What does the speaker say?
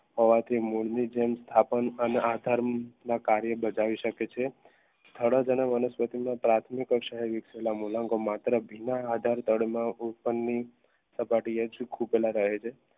હોવાથી મૂળની જેમ સ્થાપન અને આધારને કાર્ય બધાવી શકે છે વનસ્પતિના પ્રાથમિક મૂલાંગો માત્ર અભી ના આધાર તળમાં સપાટીએ ખોપેયલા રહે છે